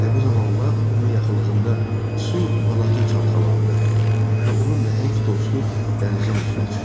Elə bu zaman lap onun yaxınlığında su balaca çalxalandı və onun nəhəng dostu dənizin üzünə çıxdı.